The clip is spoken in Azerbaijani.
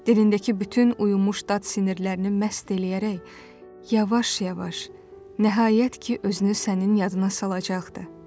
Dilindəki bütün uyumuş dad sinirlərini məst eləyərək yavaş-yavaş nəhayət ki, özünü sənin yadına salacaqdı.